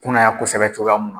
Kunnaya kosɛbɛ cogoya mun na